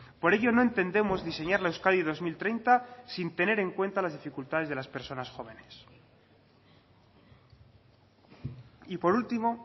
por ello no entendemos diseñar la euskadi dos mil treinta sin tener en cuenta las dificultades de las personas jóvenes y por último